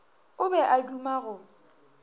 o be a duma go